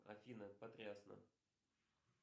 афина потрясно